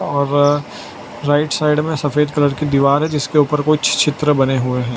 और right side में सफेद कलर की दीवार है जिसके ऊपर कुछ चित्र बने हुए हैं।